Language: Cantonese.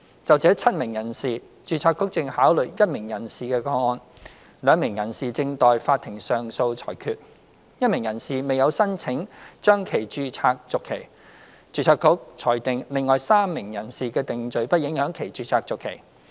就這7名人士，註冊局正考慮1名人士的個案 ；2 名人士正待法庭上訴裁決 ；1 名人士未有申請將其註冊續期；註冊局裁定另外3名人士的定罪不影響其註冊續期。